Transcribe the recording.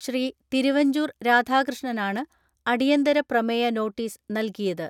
ശ്രീ. തിരുവഞ്ചൂർ രാധാകൃഷ്ണനാണ് അടിയന്തര പ്രമേയ നോട്ടീസ് നൽകിയത്.